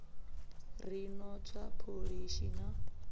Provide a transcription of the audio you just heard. ri no tswa pholishi na